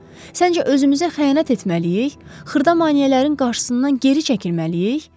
Səncə özümüzə xəyanət etməliyik, xırda maneələrin qarşısından geri çəkilməliyik?